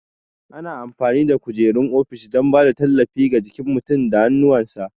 Ana amfani da kujerun ofishi don ba da tallafi ga jikin mutum da hannuwansa.